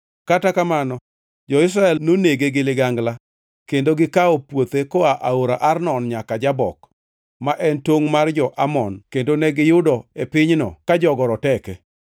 Kata kamano jo-Israel nonege gi ligangla kendo gikawo puothe koa aora Arnon nyaka Jabok, ma en tongʼ mar jo-Amon kendo ne giyudo e pinyno ka jogo roteke.